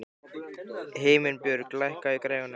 Himinbjörg, lækkaðu í græjunum.